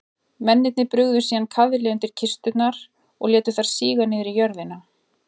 Mennirnir brugðu síðan kaðli undir kisturnar og létu þær síga niður í jörðina.